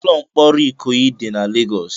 Ụlọ mkpọrọ Ikoyi dị na Lagos.